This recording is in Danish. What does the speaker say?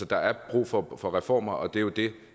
der er brug for for reformer og det er jo det